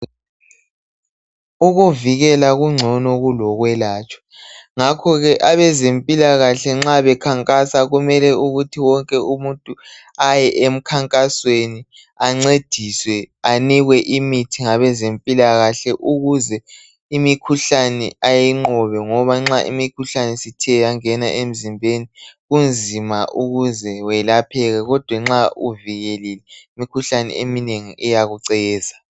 Ukuvikela kungcono kulokwelatshwa ngakho ke abezempilakahle nxa bekhankasa kumele ukuthi wonke umuntu aye emkhankasweni ancediswe anikwe imithi ngabezempilakahle ukuze imikhuhlane ayinqobe ngoba nxa imikhuhlane isithe yangena emzimbeni Kunzima ukuze welapheke kodwa nxa uvikelekile imikhuhlane eminengi iyakuceza